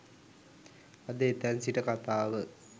අද එතැන් සිට කතාව